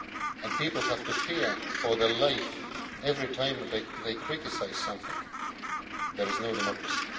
and people have to fear for their life every time they criticise something, there is no democracy.